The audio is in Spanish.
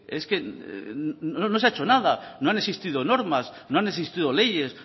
es que no se ha hecho nada no han existido normas no han existido leyes